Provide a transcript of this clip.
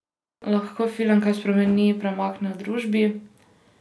Lahko film kaj spremeni, premakne v družbi?